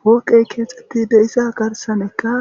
fooqey keexxetti deiza garsanekka